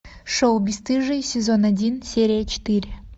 шоу бесстыжие сезон один серия четыре